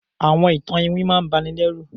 Àwọn ìtan-ìwìn máà ǹ bà nì lẹru